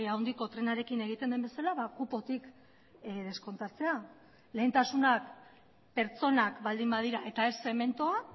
handiko trenarekin egiten den bezala kupotik deskontatzea lehentasunak pertsonak baldin badira eta ez zementua